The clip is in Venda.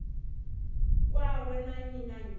kwawe na nnyi na nnyi